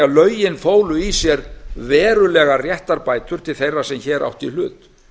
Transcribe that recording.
lögin fólu í sér verulegar réttarbætur til þeirra sem hér áttu í hlut